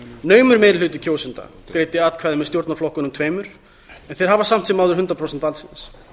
naumur meiri hluti kjósenda greiddi atkvæði með stjórnarflokkunum tveimur en þeir hafa samt sem áður hundrað prósent valdsins